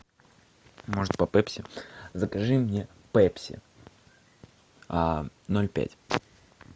может по пепси закажи мне пепси ноль пять